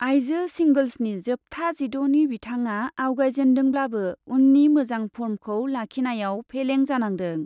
आइजो सिंगोल्सनि जोबथा जिद'नि बिथाङा आवगायजेन्दोंब्लाबो उननि मोजां फर्मखौ लाखिनायाव फेलें जानांदों।